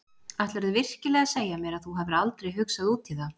Ætlarðu virkilega að segja mér að þú hafir aldrei hugsað út í það?